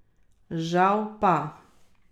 Žal pa ...